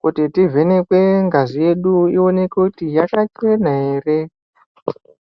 kuti tivhenekwe ngazi yedu, iwonekwe kuti yakachena ere.